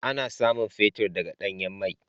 Ana samun fetir daga danyan mai.